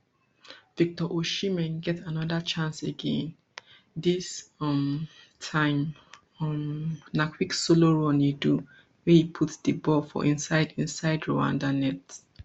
victor osimhen get anoda chance again dis um time um na quick solo run e do wey e put di ball for inside inside rwanda net